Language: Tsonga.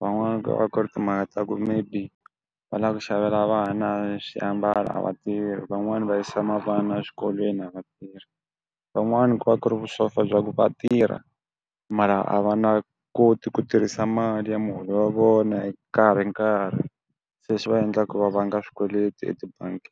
van'wani va ku ri timhaka ta ku maybe va la ku xavela vana xiambalo a vatirhi van'wani va yisa mavana xikolweni a vatirhi van'wana ku va ku ri vusofa bya ku vatirha mara a va na koti ku tirhisa mali ya muholo wa vona hi nkarhinkarhi se swi va endla ku va vanga swikweleti etibangi.